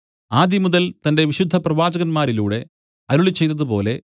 ആദിമുതൽ തന്റെ വിശുദ്ധപ്രവാചകന്മാരിലൂടെ അരുളിച്ചെയ്തതുപോലെ